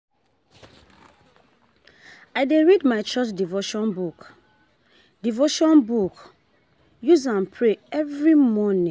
I dey read my church devotion book, devotion book, use am pray every morning.